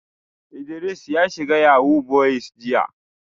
Idris ya shiga yahoo boys jiya